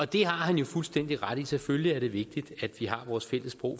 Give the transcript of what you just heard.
det har han jo fuldstændig ret i selvfølgelig er det vigtigt at vi har vores fælles sprog